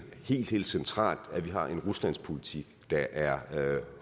helt helt centralt at vi har en ruslandspolitik der er